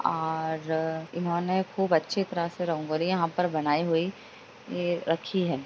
और इन्होंने खूब अच्छी तरह से रंगोली यहाँ पर बनाई हुई य रखी है।